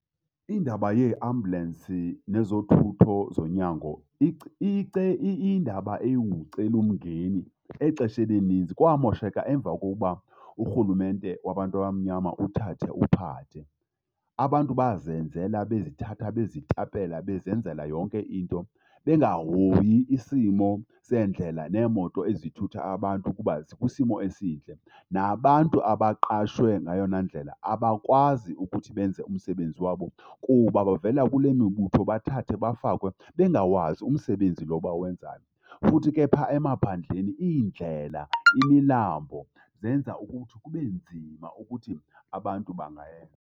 Indaba yeeambulensi nezothutho zonyango iyindaba engumcelimngeni exesheni elininzi. Kwamosheka emva kokuba urhulumente wabantu abamnyama uthathe uphathe. Abantu bazenzela bezithatha bezitapela, bezenzela yonke into, bengahoyi isimo seendlela neemoto ezithutha abantu ukuba zikwisimo esihle. Nabantu abaqashwe ngeyona ndlela abakwazi ukuthi benze umsebenzi wabo kuba bavela kule mibutho bathathwe bafakwe bengawazi umsebenzi lo bawenzayo. Futhi ke phaa emaphandleni iindlela, imilambo zenza ukuthi kube nzima ukuthi abantu